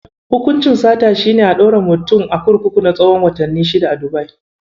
Hukuncin sata shi ne ɗaure mutum a kurkuku na tsahon watanni shida a Dubai.